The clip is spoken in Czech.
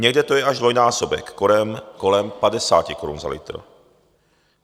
Někde to je až dvojnásobek, kolem 50 korun za litr.